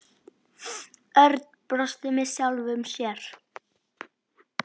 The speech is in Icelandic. Örn og brosti með sjálfum sér.